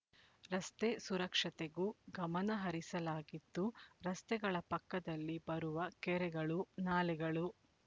ರಸ್ತೆ ಸುರಕ್ಷತೆಗೂ ಗಮನ ಹರಿಸಲಾಗಿದ್ದು ರಸ್ತೆಗಳ ಪಕ್ಕದಲ್ಲಿ ಬರುವ ಕೆರೆಗಳು ನಾಲೆಗಳು